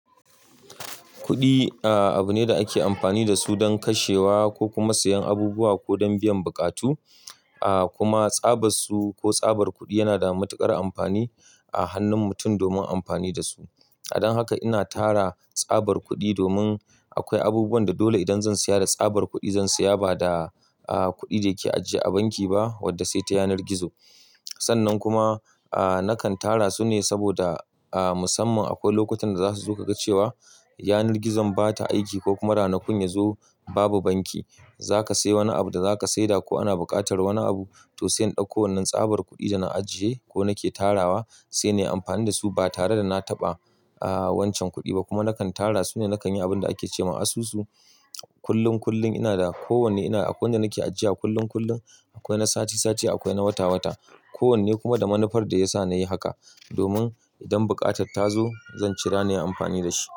Kuɗi, a, abu ne da ake amfani da su don kashewa ko kuma siyan abubuwa ko don biyan buƙatu, a, kuma tsabar su ko tsabar kuɗi yana da matuƙar amfani a hannun mutum domin amfani da su. Dan haka ina tara tsabar kuɗi domin akwai abubuwan da dole idan zan siya da tsabar kuɗi zan siya ba da, a, kuɗi da yake ajiye a banki ba wadda sai ta yanar gizo. Sannan kuma, a, nakan tara su ne saboda, a, musamman akwai lokutan da za su zo ka ga cewa yanar gizon ba ta aiki ko kuma ranakun ya zo babu banki. Za ka sayi wani abu da za ka saida ko ana buƙatar wani abu, to sai in ɗauko wannan tsabar kuɗi da na ajiye ko nake tarawa sai nayi amfani da su ba tare da na taɓa, a, wancan kuɗi ba. Kuma nakan tara su ne nakan yi abun da ake ce ma asusu. Kullum kullum ina da kowanne ina akwai wanda nake ajiya kullum kullum akwai na sati sati akwai na wata wata. Kowanne kuma da manufar da ya sa na yi haka domin idan buƙatar ta zo zan cira ne amfani da shi.